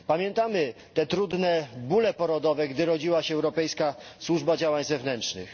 Pamiętamy te trudne bóle porodowe, gdy rodziła się Europejska Służba Działań Zewnętrznych.